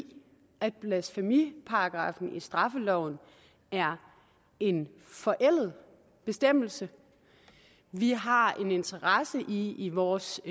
i at blasfemiparagraffen i straffeloven er en forældet bestemmelse vi har en interesse i i vores